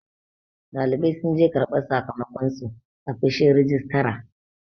ɗalibai sun je karbar sakamakonsu a fishin rijistara